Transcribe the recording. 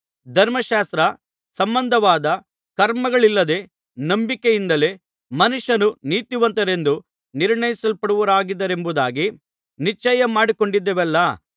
ಧರ್ಮಶಾಸ್ತ್ರ ಸಂಬಂಧವಾದ ಕರ್ಮಗಳಿಲ್ಲದೆ ನಂಬಿಕೆಯಿಂದಲೇ ಮನುಷ್ಯರು ನೀತಿವಂತರೆಂದು ನಿರ್ಣಯಿಸಲ್ಪಡುವರೆಂಬುದಾಗಿ ನಿಶ್ಚಯಮಾಡಿಕೊಂಡಿದ್ದೇವಲ್ಲಾ